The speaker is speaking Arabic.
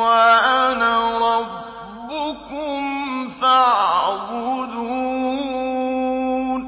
وَأَنَا رَبُّكُمْ فَاعْبُدُونِ